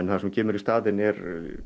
það sem kemur í staðinn er